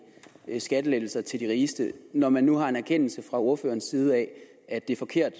skattelettelser til de rigeste når man nu har en erkendelse fra ordførerens side af at det er forkert